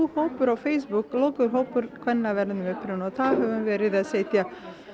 hópur á Facebook lokaður hópur kvenna af erlendum uppruna og þar höfum við verið að setja